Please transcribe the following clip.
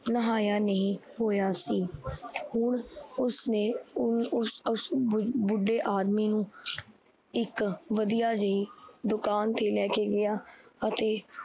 ਨਹਾਇਆ ਨਹੀਂ ਹੋਏਆ ਸੀ। ਹੁਣ ਉਸਨੇ ਓਸ ਉਸ ਬੁ ਬੁੱਢੇ ਆਦਮੀ ਨੂੰ ਇੱਕ ਵਧੀਆ ਜੇਹੀ ਦੁਕਾਨ ਤੇ ਲੈਕੇ ਗਿਆ, ਅਤੇ